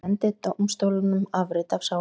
Ég sendi dómstólunum afrit af sál minni.